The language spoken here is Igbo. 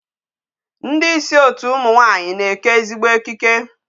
Ndị isi otu ụmụ nwaanyị na-eke ezigbo ekike.